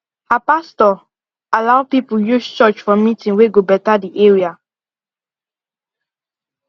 her pastor allow people use church for meeting wey go better the area